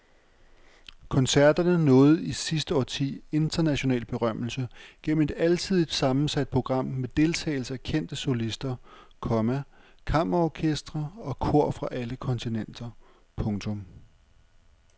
Koncerterne nåede i sidste årti international berømmelse gennem et alsidigt sammensat program med deltagelse af kendte solister, komma kammerorkestre og kor fra alle kontinenter. punktum